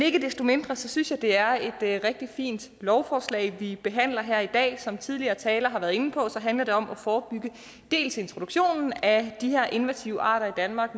ikke desto mindre synes jeg det er et rigtig fint lovforslag vi behandler her i dag som tidligere talere har været inde på handler det om at forebygge dels introduktionen af de her invasive arter i danmark